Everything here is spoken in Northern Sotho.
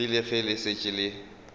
rile ge le šetše le